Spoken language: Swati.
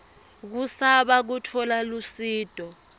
kusaba kutfola lusito